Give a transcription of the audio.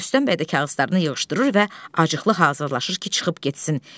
Rüstəm bəy də kağızlarını yığışdırır və acıqlı hazırlaşır ki, çıxıb getsin.